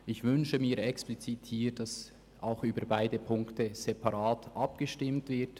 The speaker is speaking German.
Ich wünsche explizit, dass ziffernweise abgestimmt wird.